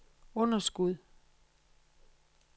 underskud